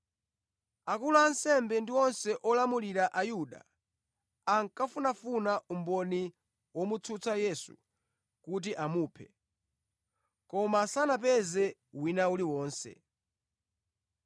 Akulu a ansembe ndi onse olamulira a Ayuda ankafunafuna umboni womutsutsa Yesu kuti amuphe, koma sanapeze wina uliwonse.